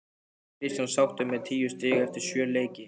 Er Kristján sáttur með tíu stig eftir sjö leiki?